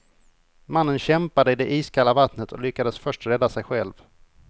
Mannen kämpade i det iskalla vattnet och lyckades först rädda sig själv.